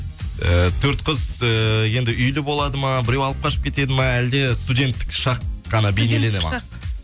і төрт қыз ііі енді үйлі болады ма біреу алып қашып кетеді ме әлде студенттік шақ қана бейнеленеді ме